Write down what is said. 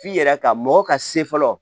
F'i yɛrɛ ka mɔgɔ ka se fɔlɔ